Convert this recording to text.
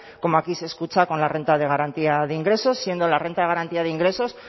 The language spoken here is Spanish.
como aquí se escucha con la renta de garantía de ingresos siendo la renta de garantía de ingresos